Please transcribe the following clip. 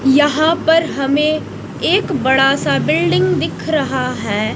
यहां पर हमें एक बड़ा सा बिल्डिंग दिख रहा है।